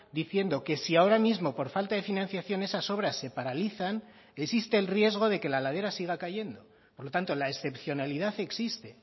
diciendo que si ahora mismo por falta de financiación esas obras se paralizan existe el riesgo de que la ladera siga cayendo por lo tanto la excepcionalidad existe